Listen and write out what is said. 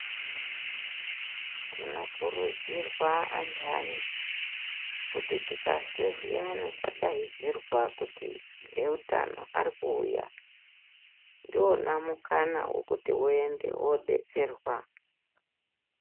Tinokurudzirwa andani kuti tikazwe zviyani kwadaidzirwa kuti eutano arikuuya, ndiwona mukana wokuti uende wodetserwa.